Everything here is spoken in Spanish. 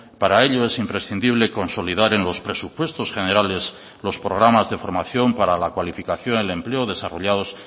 para ello es imprescindible consolidar en los presupuestos generales los programas de formación para la cualificación del empleo desarrollados